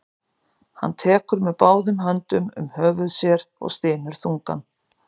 Hann tekur með báðum höndum um höfuð sér og stynur þungan.